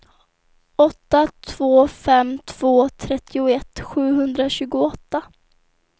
åtta två fem två trettioett sjuhundratjugoåtta